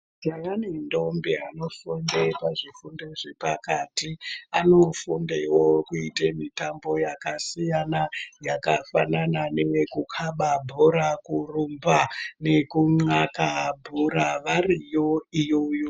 Majaha nendombi anofunda pazvikoro zvepakati anodundawo kuita mitambo yakasiyana yakafanana neyekukaba bhora kurumba neyekunhka bhora variyo iyoyo.